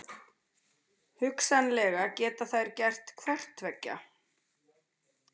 Hugsanlega geta þær gert hvort tveggja.